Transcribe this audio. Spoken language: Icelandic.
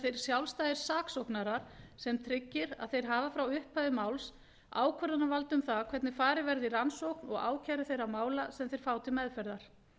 þeir sjálfstæðir saksóknarar sem tryggir að þeir hafa frá upphafi máls ákvörðunarvald um það hvernig farið verði í rannsókn og ákæru þeirra mála sem þeir fá til meðferðar